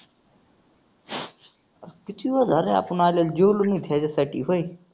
किती वेळ झालाय आपण आलोय, जेवलो नाही त्याच्यासाठी व्हय.